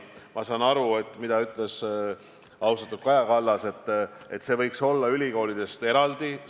Ma saan aru, mida ütles austatud Kaja Kallas: et see võiks olla ülikoolidest eraldi.